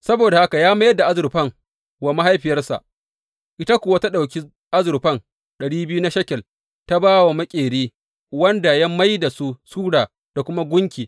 Saboda haka ya mayar da azurfan wa mahaifiyarsa, ita kuwa ta ɗauki azurfa ɗari biyu na shekel ta ba wa maƙeri, wanda ya mai da su sura da kuma gunki.